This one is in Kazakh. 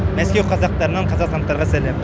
мәскеу қазақтарынан қазақстандықтарға сәлем